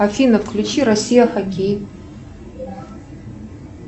афина включи россия хоккей